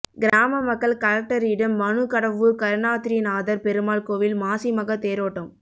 கிராம மக்கள் கலெக்டரிம் மனு கடவூர் கருணாத்ரிநாதர் பெருமாள் கோயில் மாசிமக தேரோட்டம்